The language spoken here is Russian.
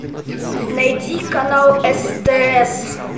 найди канал стс